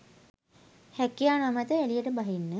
රැකියා නොමැතිව එළියට බහින්න